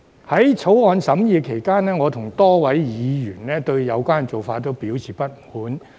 在《條例草案》審議期間，我與多位議員均對有關做法表示不滿。